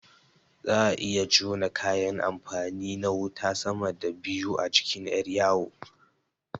Za'a iya jona kayan amfani na wuta sama da biyu a jikin ƴar yawo